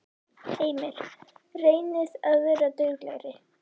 Heimir: Reynið að vera duglegri?